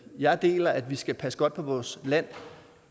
jeg deler at vi skal passe godt på vores land